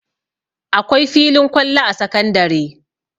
Akwai filin kwallo a sakandare